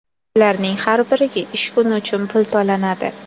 Ularning har biriga ish kuni uchun pul to‘lanadi.